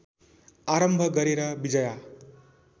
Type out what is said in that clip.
आरम्भ गरेर विजया